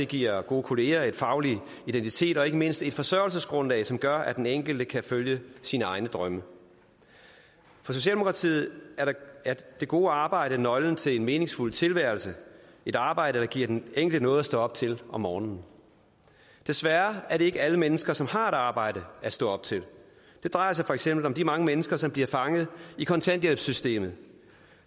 giver gode kolleger faglig identitet og ikke mindst et forsørgelsesgrundlag som gør at den enkelte kan følge sine egne drømme for socialdemokratiet er det gode arbejde nøglen til en meningsfuld tilværelse et arbejde giver den enkelte noget at stå op til om morgenen desværre er det ikke alle mennesker som har et arbejde at stå op til det drejer sig for eksempel om de mange mennesker som bliver fanget i kontanthjælpssystemet